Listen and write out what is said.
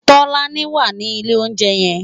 Tolani wá ni ilé óunjè yèn